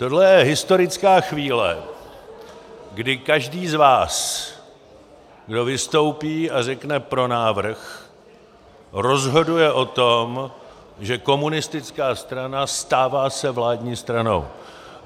Tohle je historická chvíle, kdy každý z vás, kdo vystoupí a řekne "pro návrh", rozhoduje o tom, že komunistická strana stává se vládní stranou.